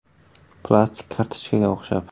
Plastik kartochkaga o‘xshab.